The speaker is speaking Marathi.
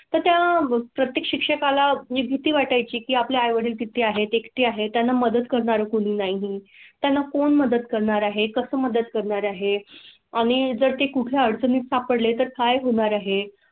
त्या प्रत्येक शिक्षका ला भीती वाटाय ची. आपल्या आई वडील किती आहे ते कळते आहे. त्यांना मदत करणार कोणी नाहीं त्यांना कोण मदत करणार आहे, कसं मदत करणार आहे आणि जर ते कुठे अडचणी सापडले तर काय होणार आहे तर त्या प्रत्येक शिक्षका ला भीती वाटाय ची.